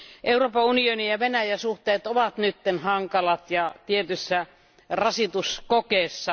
Euroopan unioni ja Venäjän suhteet ovat nyt hankalat ja tietyssä rasituskokeessa.